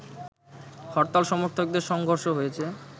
হরতাল সমর্থকদের সংঘর্ষ হয়েছে